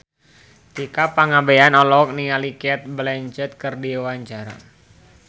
Tika Pangabean olohok ningali Cate Blanchett keur diwawancara